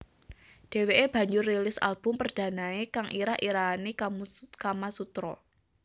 Dheweke banjur rilis album perdanae kang irah irahane Kamasutra